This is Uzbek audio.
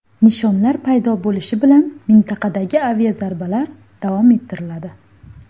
Nishonlar paydo bo‘lishi bilan mintaqadagi aviazarbalar davom ettiriladi.